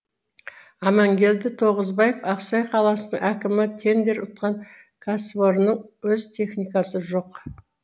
амангелді тоғызбаев ақсай қаласының әкімі тендер ұтқан кәсіпорынның өз техникасы жоқ